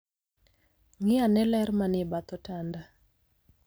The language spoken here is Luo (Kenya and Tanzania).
Ng'i ane ler manie bath otanda.